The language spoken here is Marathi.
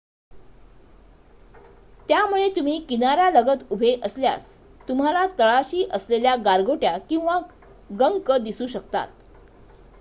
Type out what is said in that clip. त्यामुळे तुम्ही किनार्‍यालगत उभे असल्यास तुम्हाला तळाशी असलेल्या गारगोट्या किंवा गंक दिसू शकतात